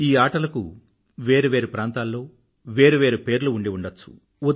ఈ ఆటలను వేరు వేరు ప్రాంతాల్లో వేరు వేరు పేర్లు ఉండి ఉండచ్చు